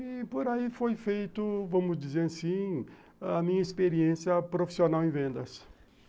E por aí foi feito, vamos dizer assim, a minha experiência profissional em vendas.